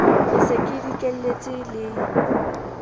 ke se ke dikelletse le